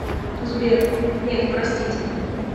сбер нет простите